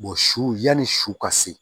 su yani su ka se